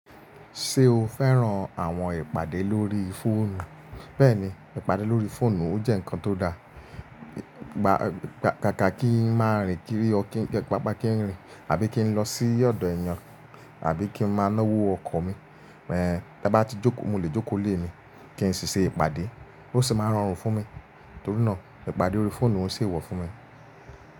Ṣé o fẹ́ràn àwọn ìpàdé lórí fóònù? Bẹ́ẹ̀ni, ìpàdé lórí fóònù ó jẹ́ ǹnkan tó da. Gba-- kaka kí ń máa rìn kiri or kin, kaka kí ń rìn àbí kí ń lọ sí ọ̀dọ̀ ẹ̀yàn, àbí kí ń máa náwó ọkọ̀ mi. Ẹ̀hb, tí a bá ti jókò, mo lè jókò n ilé mi, kí n sì ṣe ìpàdé. Ó sì máa rọrùn fún mi. Torí náà ìpàdé órí fóònù ń o ṣe éwọ̀ fún mi.